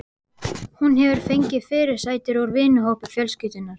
Hún hefur fengið fyrirsætur úr vinahópi fjölskyldunnar.